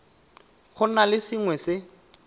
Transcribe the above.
go na le sengwe se